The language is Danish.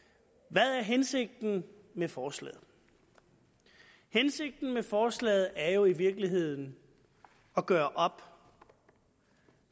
hvad er hensigten med forslaget hensigten med forslaget er jo i virkeligheden at gøre op